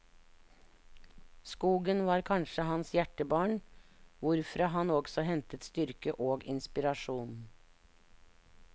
Skogen var kanskje hans hjertebarn, hvorfra han også hentet styrke og inspirasjon.